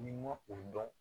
N'i ma o dɔn